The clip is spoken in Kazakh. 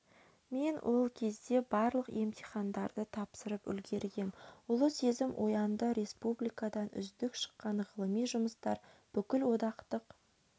мен ол кезде барлық емтихандарды тапсырып үлгергем ұлы сезім оянды республикадан үздік шыққан ғылыми жұмыстар бүкілодақтық